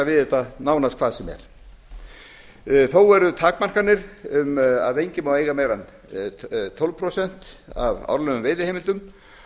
þetta nánast hvað sem er þó eru takmarkanir að enginn má eiga meira en tólf prósent af árlegum veiðiheimildum